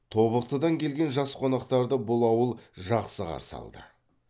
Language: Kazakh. тобықтыдан келген жас қонақтарды бұл ауыл жақсы қарсы алды